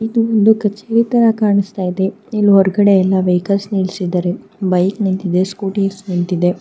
ಇದುವೊಂದು ಕಚೇರಿ ತರ ಕಾಣಿಸ್ತಾ ಇದೆ. ಇಲ್ಲಿ ಹೊರಗಡೆ ಎಲ್ಲ ವೆಹಿಕಲ್ಸ್ ನಿಲ್ಸಿದಾರೆ. ಬೈಕ್ ನಿಂತಿದೆ ಸ್ಕೂಟಿ ನಿಂತಿದೆ.